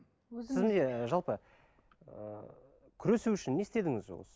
сіз не жалпы ыыы күресу үшін не істедіңіз осы